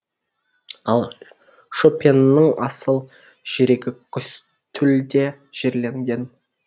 ал шопеннің асыл жүрегі косте лде жерленген